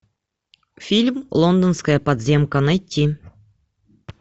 фильм лондонская подземка найти